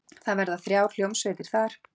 Það verða þrjár hljómsveitir þar.